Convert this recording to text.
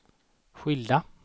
skilda